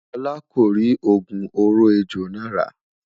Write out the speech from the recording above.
olá kò ri ogún òrò ẹjọ nà ra